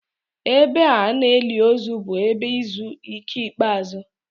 Ebe a na-eli ozu bụ ebe izu ike ikpeazụ.